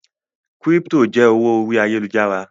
crypto jẹ owó orí Ayélujára.